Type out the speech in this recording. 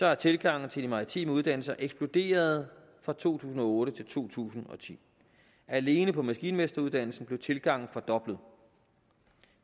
er tilgangen til de maritime uddannelser eksploderet fra to tusind og otte til to tusind og ti alene på maskinmesteruddannelsen blev tilgangen fordoblet